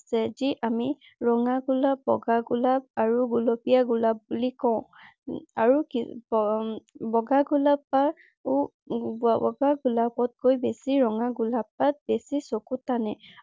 যে যি আমি ৰঙা গোলপ, বগা গোলাপ আৰু গুলপীয়া গোলাপ বুলি কঁও । আৰু বগা গোলাপতকৈও বেছি ৰঙা গোলাপ পাহ বেছি চকুত টানে।